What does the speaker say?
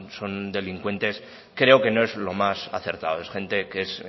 son delincuentes creo que no es lo más acertado es gente que es